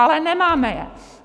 Ale nemáme je.